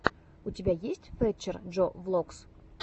у тебя есть фэтчер джо влогс